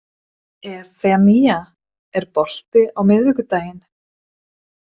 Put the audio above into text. Evfemía, er bolti á miðvikudaginn?